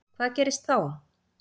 Hvað gerist þá?